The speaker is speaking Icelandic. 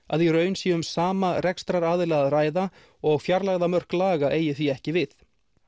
að í raun sé um sama rekstraraðila að ræða og fjarlægðarmörk laga eigi því ekki við